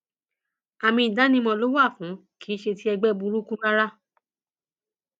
àmì ìdánimọ ló wà fún kì í ṣe ti ẹgbẹ burúkú rárá